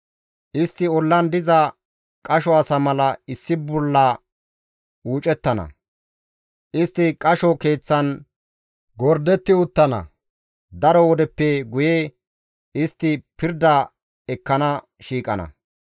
Istti ollan diza qasho asa mala issi bolla uucettana; istti qasho keeththan gordetti uttana; daro wodeppe guye istti pirda ekkana shiiqana.